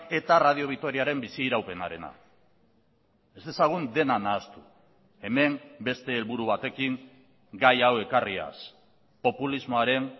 eta radio vitoriaren bizi iraupenarena ez dezagun dena nahastu hemen beste helburu batekin gai hau ekarriaz populismoaren